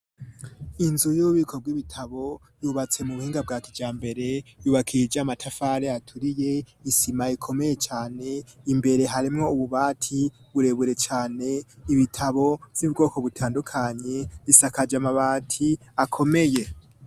Inzu y'ububiko bw'ibitabo yubatse mu buhinga bwa kijambere, yubakishije amatafari aturiye isima ikomeye cane, imbere harimwo ububati burebure cane, ibitabo vy'ubwoko butandukanye, isakaje amabati akomeye.